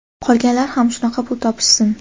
Qolganlar ham shunaqa pul topishsin!.